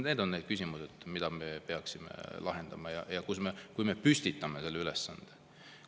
Need on need küsimused, mida me peaksime lahendama, milleks me püstitame ülesanded.